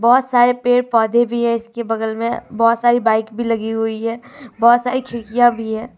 बहुत सारे पेड़ पौधे भी हैं इसके बगल में बहुत सारी बाइक भी लगी हुई है बहुत सारी खिड़कियां भी हैं।